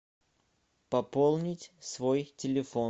пополнить свой телефон